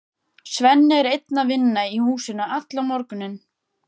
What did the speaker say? Svenni er einn að vinna í húsinu allan morguninn.